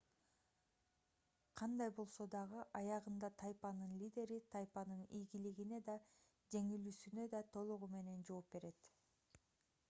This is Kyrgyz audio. кандай болсо дагы аягында тайпанын лидери тайпанын ийгилигине да жеңилүүсүнө да толугу менен жооп берет